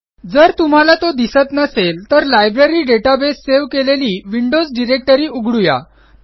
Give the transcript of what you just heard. जर तुम्हाला तो दिसत नसेल तर लायब्ररी डेटाबेस सेव्ह केलेली विंडोज डायरेक्टरी उघडूया